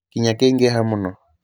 kĩĩya kĩingĩha mũno